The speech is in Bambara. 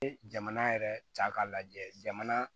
jamana yɛrɛ ta k'a lajɛ jamana